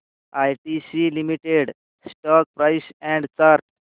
ITC limited stock price and chart